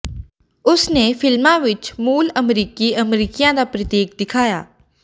ਉਸ ਨੇ ਫਿਲਮਾਂ ਵਿੱਚ ਮੂਲ ਅਮਰੀਕੀ ਅਮਰੀਕੀਆਂ ਦਾ ਪ੍ਰਤੀਕ ਦਿਖਾਇਆ